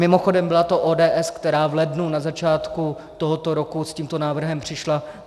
Mimochodem byla to ODS, která v lednu na začátku tohoto roku s tímto návrhem přišla.